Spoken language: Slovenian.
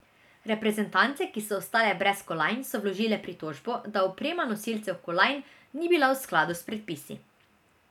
Reprezentance, ki so ostale brez kolajn, so vložile pritožbo, da oprema nosilcev kolajn ni bila v skladu s predpisi.